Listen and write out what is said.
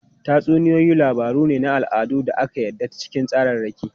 Tatsuniyoyi labaru ne na al'ada da aka yada ta cikin tsararraki.